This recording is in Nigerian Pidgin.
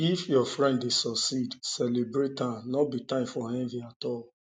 if your friend dey succeed celebrate am no be time for envy at all